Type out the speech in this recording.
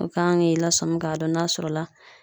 O kan k'i lasɔmi ka dɔn n'a sɔrɔ la